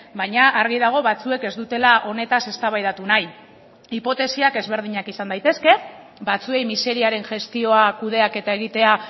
baina argi dago batzuek ez dutela honetaz eztabaidatu nahi hipotesiak ezberdinak izan daitezke batzuei miseriaren gestioa kudeaketa egitea